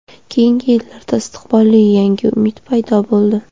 Keyingi yillarda istiqbolli yangi umid paydo bo‘ldi.